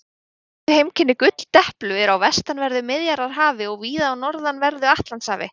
Helstu heimkynni gulldeplu eru á vestanverðu Miðjarðarhafi og víða á norðanverðu Atlantshafi.